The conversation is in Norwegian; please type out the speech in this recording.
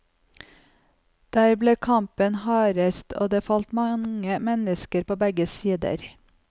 Der ble kampen hardest, og det falt mange folk på begge sider.